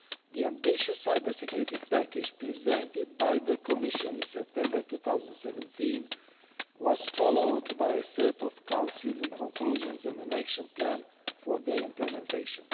The ambitious cybersecurity package presented by the Commission in September 2017 was followed the by a set of Council conclusions and an action plan for their implementation.